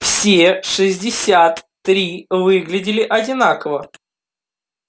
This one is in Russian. все шестьдесят три выглядели одинаково